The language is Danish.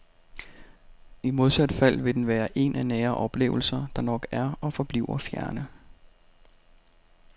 I modsat fald vil den være en af nære oplevelser, der nok er og forbliver fjerne.